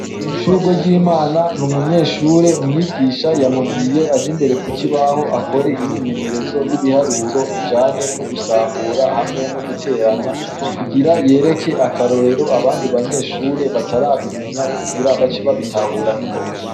Shurweryimana n'umunyeshure, umwigisha yamubwiye aje imbere ku kibaho akore imyimenyerezo y'ibiharuro ijanye no gusambura hamwe no guteranya, kugira yereke akarorero abandi banyeshure batarabimenya kugira bace babitahure ningoga.